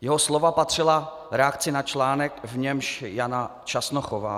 Jeho slova patřila reakci na článek, v němž Jana Časnochová